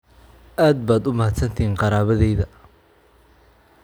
Aad baad u mahadsantixin qaraabadeyda.